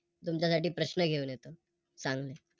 तुमच्यासाठी प्रश्न घेऊन येतो चांगले.